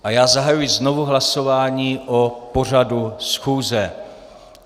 A já zahajuji znovu hlasování o pořadu schůze.